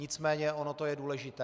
Nicméně ono to je důležité.